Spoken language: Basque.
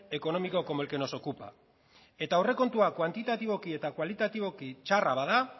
económico como el que nos ocupa eta aurrekontua kuantitatiboki eta kualitatiboki txarra bada